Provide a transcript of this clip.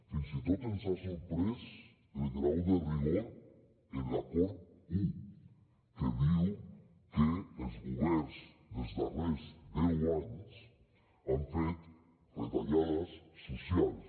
fins i tot ens ha sorprès el grau de rigor en l’acord un que diu que els governs dels darrers deu anys han fet retallades socials